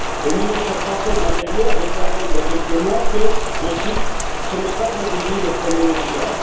Le ministre français de l'intérieur déclarait il y a quelques mois, je cite, que ce n'est pas un délit de prôner le djihad.